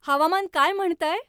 हवामान काय म्हणतंय?